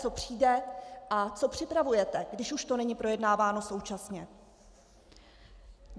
Co přijde a co připravujete, když už to není projednáváno současně?